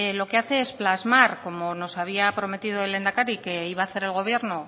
lo que hace es plasmar como nos había prometido el lehendakari que iba a hacer el gobierno